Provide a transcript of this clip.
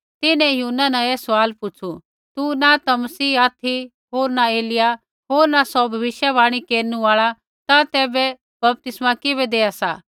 तिन्हैं यूहन्ना न ऐ सवाल पुछ़ु तू न ता मसीह ऑथि होर न एलिय्याह होर न सौ भविष्यवाणी केरनु आल़ा ता तैबै बपतिस्मा किबै देआ सा